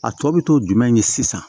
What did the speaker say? A tɔ bɛ to jumɛn de la sisan